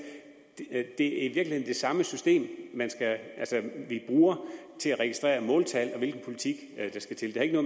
at det er det samme system vi bruger til at registrere måltal og den politik der skal til det har ikke